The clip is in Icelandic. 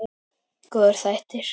Góðir þættir.